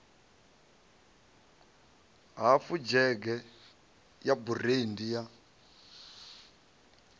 hafu dzhege ya burandi ya